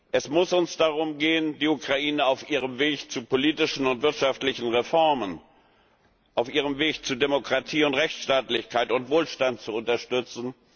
Es muss uns darum gehen, die Ukraine auf ihrem Weg zu politischen und wirtschaftlichen Reformen, auf ihrem Weg zu Demokratie und Rechtsstaatlichkeit und Wohlstand zu unterstützen.